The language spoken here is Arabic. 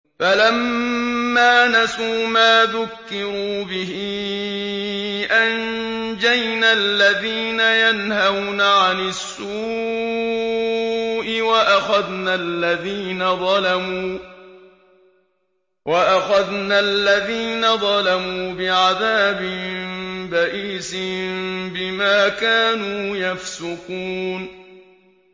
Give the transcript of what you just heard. فَلَمَّا نَسُوا مَا ذُكِّرُوا بِهِ أَنجَيْنَا الَّذِينَ يَنْهَوْنَ عَنِ السُّوءِ وَأَخَذْنَا الَّذِينَ ظَلَمُوا بِعَذَابٍ بَئِيسٍ بِمَا كَانُوا يَفْسُقُونَ